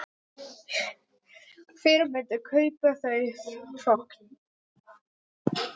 Hver myndi kaupa þau hrogn?